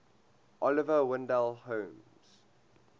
oliver wendell holmes